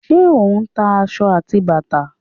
Ṣé o ń ta aṣọ àti bàtà?